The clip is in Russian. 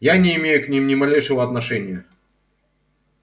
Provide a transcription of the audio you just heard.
я не имею к ним ни малейшего отношения